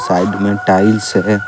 Side में tiles है।